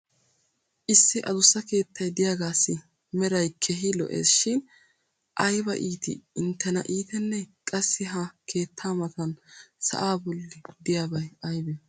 issi adussa keettay diyaagaassi meray keehi lo'ees shin aybba iittii intena iitenee? qassi ha keettaa matan sa"aa boli diyaabay aybee?